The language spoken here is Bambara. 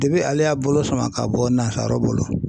ale y'a bolo sama ka bɔ nansaraw bolo